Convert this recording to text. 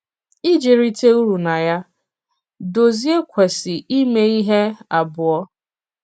Ìji rìtè ùrù na ya, Dòzìè kwesị̀ ímè ihe abụọ.